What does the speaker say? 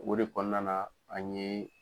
O de kɔnɔna na an yeee.